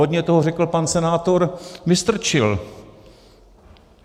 Hodně toho řekl pan senátor Vystrčil.